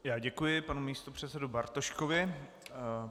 Já děkuji panu místopředsedovi Bartoškovi.